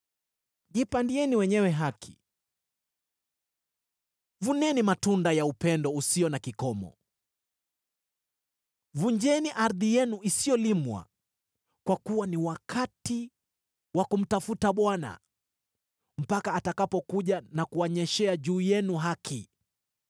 Jipandieni wenyewe haki, vuneni matunda ya upendo usio na kikomo, vunjeni ardhi yenu isiyolimwa; kwa kuwa ni wakati wa kumtafuta Bwana , mpaka atakapokuja na kuwanyeshea juu yenu haki.